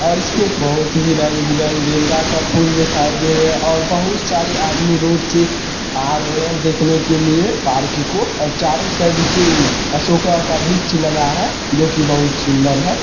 और इसमें बहुत ही रंग बिरंग गेंदा का फूल दिखाई दे रहे है और बहुत सारी आदमी रोड से आ रहे है देखने के लिए पार्क को और चारों साइड से असोका का वृक्ष लगा है जो कि बहुत सुंदर है।